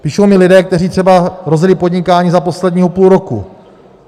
Píší mi lidé, kteří třeba rozjeli podnikání za posledního půl roku.